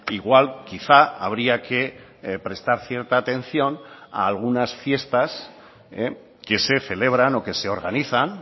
igual quizá habría que prestar cierta atención a algunas fiestas que se celebran o que se organizan